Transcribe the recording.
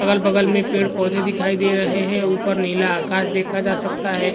बगल-बगल में पेड़-पौधे दिखाई दे रहे हैं ऊपर नीला आकाश देखा जा सकता है।